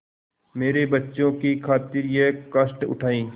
मेरे बच्चों की खातिर यह कष्ट उठायें